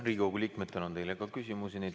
Riigikogu liikmetel on teile ka küsimusi.